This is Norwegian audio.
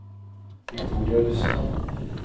Victoria Rustad